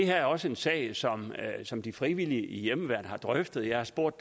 her er også en sag som som de frivillige i hjemmeværnet har drøftet jeg har spurgt